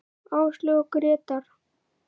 Áslaug og Grétar.